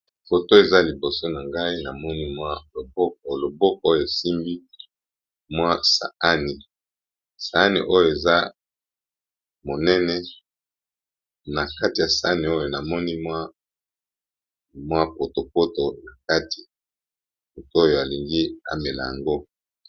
Foto eza liboso na ngai loboko oyo esimbi mwa saani, saani oyo eza monene na kati ya sani oyo namoni mwa poto poto na kati moto oyo alingi amela yango.